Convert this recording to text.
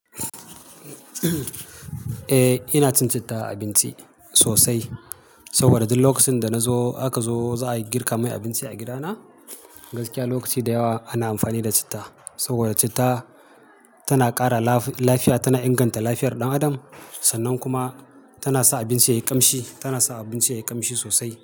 Ina cin citta a abinci sosai saboda duk lokacin da na zo aka zo za a girka mun abinci a gidana. Gaskiya lokaci da yawa ana amfani da citta saboda citta tana ƙara lafiya, tana inganta lafiyar ɗan adam sannan kuma tana sa abinci yayi ƙamshi, tana sa abinci yayi ƙamshi sosai.